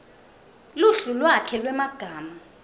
luhlu lwakhe lwemagama